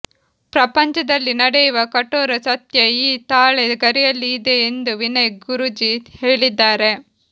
ಪ್ರಪಂಚದಲ್ಲಿ ನೆಡೆಯುವ ಕಠೋರ ಸತ್ಯ ಈ ತಾಳೆ ಗರಿಯಲ್ಲಿ ಇದೆ ಎಂದು ವಿನಯ್ ಗುರೂಜಿ ಹೇಳಿದ್ದಾರೆ